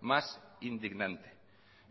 más indignante